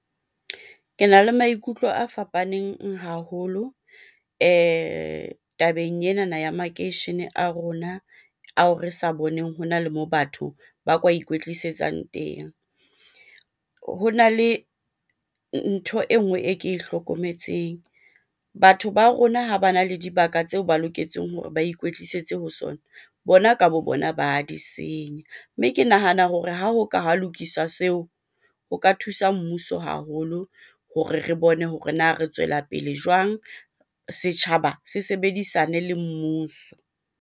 Kena le maikutlo a fapaneng haholo tabeng enana ya makeishene a rona ao re sa boneng hona le moo batho ba ka ikwetlisetsang teng. Hona le ntho e nngwe e ke e hlokometseng, batho ba rona ha bana le dibaka tseo ba loketseng hore ba ikwetlisetse ho sona, bona ka bo bona ba di senya. Mme ke nahana hore ha ho ka ha lokiswa seo ho ka thusa mmuso haholo hore re bone hore na re tswela pele jwang? Setjhaba se sebedisane le mmuso.